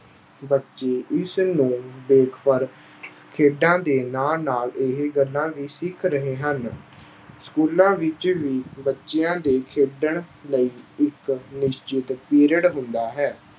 ਬੱਚੇ ਇਸਨੂੰ ਦੇਖ ਕਰ ਖੇਡਾਂ ਦੇ ਨਾਲ ਨਾਲ ਇਹ ਗੱਲਾਂ ਵੀ ਸਿੱਖ ਰਹੇ ਹਨ। schools ਵਿੱਚ ਵੀ ਬੱਚਿਆਂ ਦੇ ਖੇਡਣ ਲਈ ਇੱਕ ਨਿਸ਼ਚਿਤ period ਹੁੰਦਾ ਹੈ।